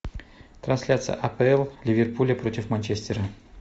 трансляция апл ливерпуля против манчестера